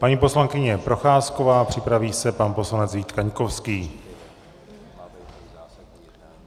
Paní poslankyně Procházková, připraví se pan poslanec Vít Kaňkovský.